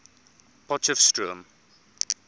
potchefstroom